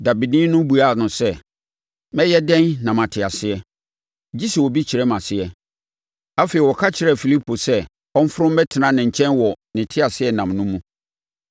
Dabeni no buaa no sɛ, “Mɛyɛ dɛn na mate aseɛ? Gye sɛ obi kyerɛ me aseɛ.” Afei, ɔka kyerɛɛ Filipo sɛ ɔmforo mmɛtena ne nkyɛn wɔ ne teaseɛnam no mu.